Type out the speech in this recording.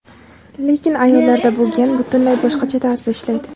Lekin ayollarda bu gen butunlay boshqacha tarzda ishlaydi.